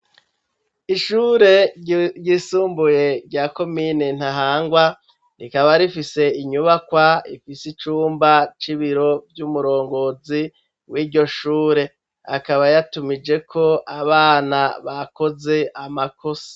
Ishure ryisumbuye rya komine Ntahangwa rikaba rifise inyubakwa ifise icumba c'ibiro vy'umurongozi wiryo shure akaba yatumijeko abana bakoze amakosa